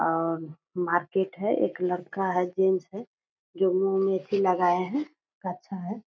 और मार्किट है एक लड़का है जेट्स है जो मुँह में एथी लगाया है कच्छा है।